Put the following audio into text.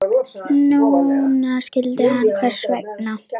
Núna skildi hann hvers vegna.